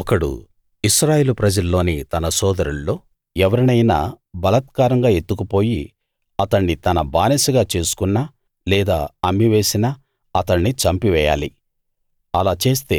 ఒకడు ఇశ్రాయేలు ప్రజల్లోని తన సోదరుల్లో ఎవరినైనా బలాత్కారంగా ఎత్తుకుపోయి అతణ్ణి తన బానిసగా చేసుకున్నా లేదా అమ్మివేసినా అతణ్ణి చంపివేయాలి అలా చేస్తే